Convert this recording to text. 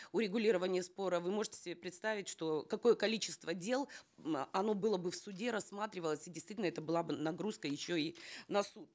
урегулирования спора вы можете себе представить что какое количество дел э оно было бы в суде рассматривалось и действительно это была бы нагрузка еще и на суд